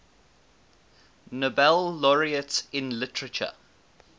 nobel laureates in literature